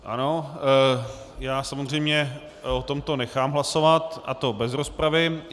Ano, já samozřejmě o tomto nechám hlasovat, a to bez rozpravy.